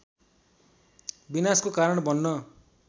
विनाशको कारण बन्न